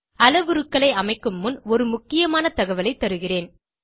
அளவுருக்களை அமைக்கும் முன் ஒரு முக்கியமான தகவலைத் தருகிறேன்